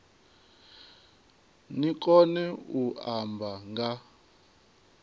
ni kone u amba nga